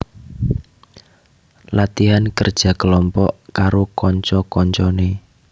Latihan kerja kelompok karo kanca kancane